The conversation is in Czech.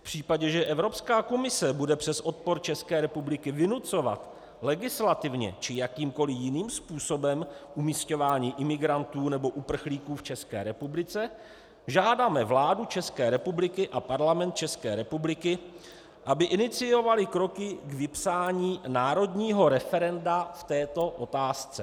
V případě, že Evropská komise bude přes odpor České republiky vynucovat legislativně či jakýmkoliv jiným způsobem umisťování imigrantů nebo uprchlíků v České republice, žádáme vládu České republiky a Parlament České republiky, aby iniciovaly kroky k vypsání národního referenda k této otázce."